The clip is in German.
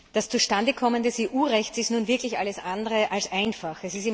Das Zustandekommen des EU Rechts ist nun wirklich alles andere als einfach.